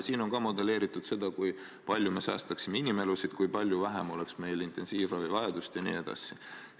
On ka modelleeritud seda, kui palju me säästaksime inimelusid, kui palju vähem oleks meil intensiivravivajadust jne.